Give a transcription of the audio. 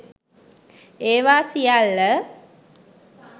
ඒවා සියල්ල